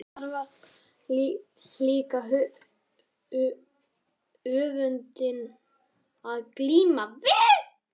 Og þar var líka öfundin að glíma við.